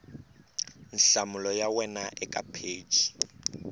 nhlamulo ya wena eka pheji